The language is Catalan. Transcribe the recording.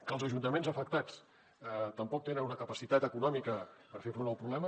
que els ajuntaments afectats tampoc tenen una capacitat econòmica per fer front al problema